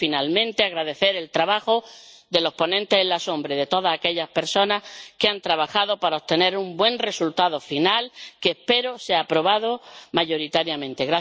Quiero, finalmente, agradecer el trabajo de los ponentes alternativos y de todas aquellas personas que han trabajado para obtener un buen resultado final, que espero sea aprobado mayoritariamente.